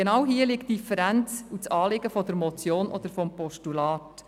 Genau dies ist das Anliegen der Motion oder des Postulats: